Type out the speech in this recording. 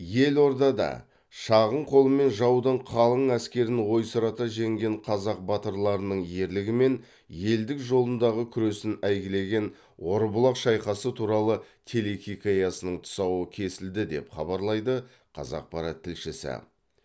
елордада шағын қолмен жаудың қалың әскерін ойсырата жеңген қазақ батырларының ерлігі мен елдік жолындағы күресін әйгілеген орбұлақ шайқасы туралы телехикаясының тұсауы кесілді деп хабарлайды қазақпарат тілшісі